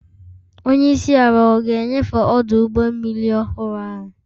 Onye isi ala ọ ga-enyefe ọdụ ụgbọ mmiri ọhụrụ ahụ?